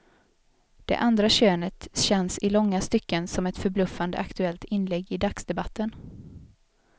Det andra könet känns i långa stycken som ett förbluffande aktuellt inlägg i dagsdebatten.